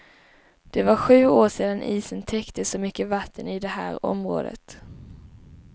Det var sju år sedan isen täckte så mycket vatten i det här området.